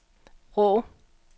Vrå